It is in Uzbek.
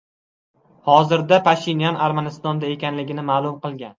Hozirda Pashinyan Armanistonda ekanligini ma’lum qilgan .